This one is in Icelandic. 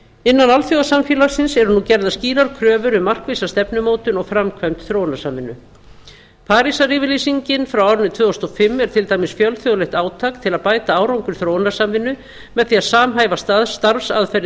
innan alþjóðasamfélagsins eru nú gerðar skýrar kröfur um markvissa stefnumótun og framkvæmd þróunarsamvinnu parísaryfirlýsingin frá árinu tvö þúsund og fimm er til dæmis fjölþjóðlegt átak til að bæta árangur þróunarsamvinnu með því að samhæfa starfsaðferðir